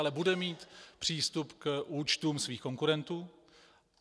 Ale bude mít přístup k účtům svých konkurentů.